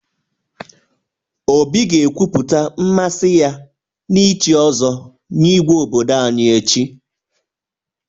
Obi ga-ekwupụta mmasị ya n'ichi ọzọ nye Igwe obodo anyị echi.